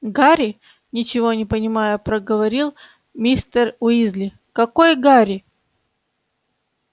гарри ничего не понимая проговорил мистер уизли какой гарри